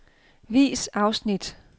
Vis afsnit.